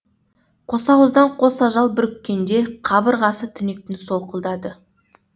қосауыздан қос ажал бүріккенде қабырғасы түнектің солқылдады